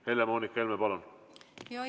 Helle-Moonika Helme, palun!